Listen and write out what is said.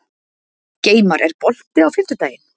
Geimar, er bolti á fimmtudaginn?